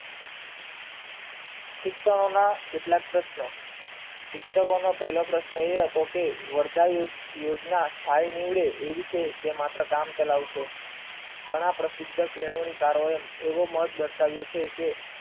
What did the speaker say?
શિક્ષણોના કેટલાક પ્રશ્નો શિક્ષકોનો પહેલો પ્રશ્ન એ હતો કે વરદાય યોજના થાય નીવડે એવી કે જે માત્ર કામ કરાવશે ઘણા પ્રસિદ્ધ કેળવણી કાર્ય એવો માટે દર્શાવ્યો કે